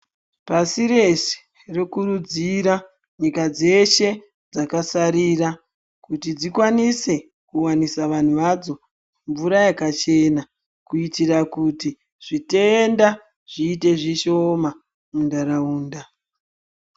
Pasi rese ndinokurudzira nyika dzeshe dzakasarira kuti dzikwanise kuwanisa vanhu vadzo mvura yakachena , kutira kuti zvitenda zviite zvishoma munhtaraunda.